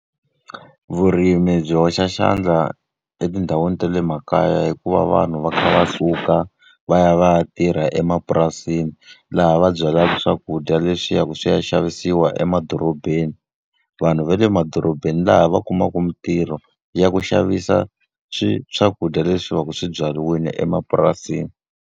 Vurimi byi hoxa xandla etindhawini ta le makaya hi ku va vanhu va kha va suka va ya va ya tirha emapurasini, laha va byalaka swakudya leswi swi ya swi ya xavisiwa emadorobeni. Vanhu va le madorobeni laha va kumaka mintirho ya ku xavisa swakudya leswi va ka swi byariwile emapurasini.